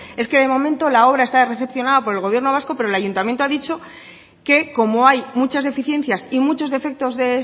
es que de momento la obra está recepcionada por el gobierno vasco pero el ayuntamiento ha dicho que como hay muchas deficiencias y muchos defectos de